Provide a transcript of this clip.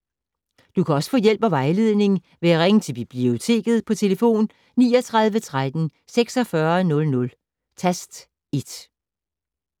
Du kan også få hjælp og vejledning ved at ringe til Biblioteket på tlf. 39 13 46 00, tast 1.